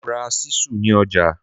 Mo ra ṣísù ní ọjà.